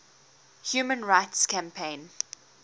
human rights campaign